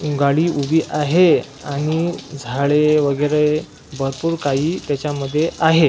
गाडी उभी आहे आणि झाडे वगैरे भरपूर काही त्याच्यामध्ये आहेत.